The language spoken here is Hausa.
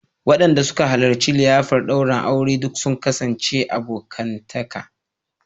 Wadanda suka halarci liyafar daurin aure duk sun kasance abokantaka